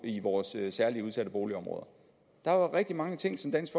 i vores særligt udsatte boligområder der var rigtig mange ting som dansk